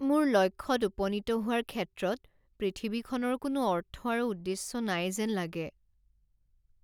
মোৰ লক্ষ্যত উপনীত হোৱাৰ ক্ষেত্ৰত পৃথিৱীখনৰ কোনো অৰ্থ আৰু উদ্দেশ্য নাই যেন লাগে।